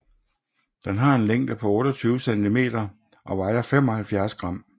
Den har en længde på 28 cm og vejer 75 gram